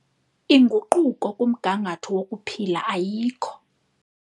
Inguquko kumgangatho wokuphila ayikho.